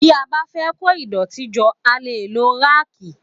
Tí a bá fẹ́ kó ìdọ̀tí jọ a lè lo ráàkì